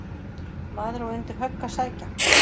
Maður á undir högg að sækja.